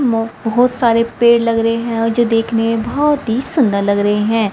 बहोत सारे पेड़ लग रहे हैं और जो देखने में बहोत ही सुंदर लग रहे हैं।